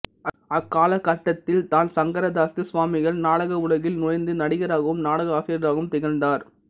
அக்காலகட்டதில்தான் சங்கரதாசு சுவாமிகள் நாடக உலகில் நுழைந்து நடிகராகவும் நாடக ஆசிரியராகவும் திகழ்ந்தார்